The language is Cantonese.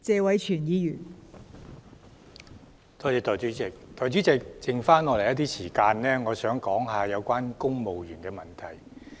代理主席，我想以餘下發言時間談談有關公務員的問題。